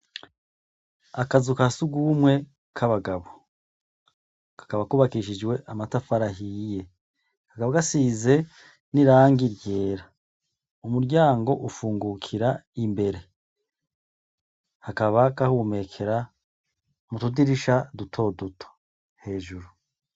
Akazu ka surwumwe kabagabo. Kakaba kubakishijwe amatafari ahiye. Kakaba gasize n'irangi ryera. Umuryango ufungukira imbere. Hakabaho agahumekera mu tudirisha dutoduto hejuru.